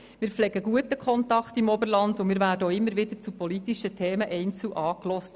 Wir pflegen einen guten Kontakt zum Oberland und werden auch immer wieder einzeln zu politischen Themen angehört.